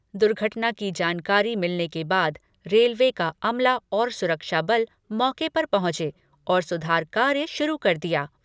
दुर्घटना की जानकारी मिलने के बाद रेलवे का सुरक्षा बल मौके पर पहुंचा और सुधार कार्य शुरू कर दिया गया।